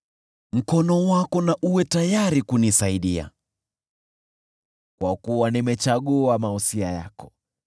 Mkono wako uwe tayari kunisaidia, kwa kuwa nimechagua mausia yako.